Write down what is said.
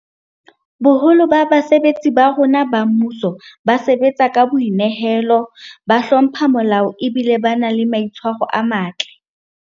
Boholo ba basebetsi ba rona ba mmuso ba sebatsa ka boi nehelo, ba hlompha molao ebile ba na le maitshwaro a matle.